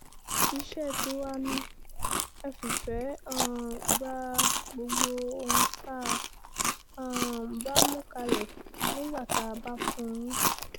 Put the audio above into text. iṣẹ́ tiwa náà ni ẹ fìfẹ́ um gba gbogbo ohun tá a um bá mú kalẹ̀ nígbà tá a bá fún yín